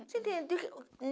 você entendeu?